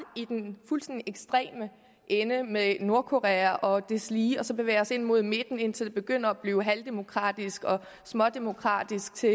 i den fuldstændig ekstreme ende med nordkorea og deslige og så bevæge os ind mod midten indtil det begynder at blive halvdemokratisk og smådemokratisk til